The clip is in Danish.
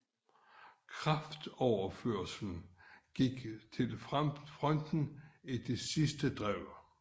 Kraftoverførslen gik til fronten til det sidste drev